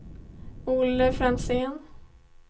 Olle Franzén